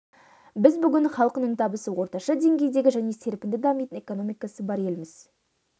біз бүгін халқының табысы орташа деңгейдегі және серпінді дамитын экономикасы бар елміз